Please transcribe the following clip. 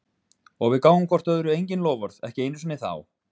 Og við gáfum hvort öðru engin loforð, ekki einu sinni þá.